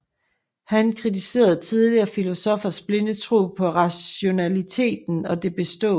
Han kritiserede tidligere filosoffers blinde tro på rationaliteten og det bestående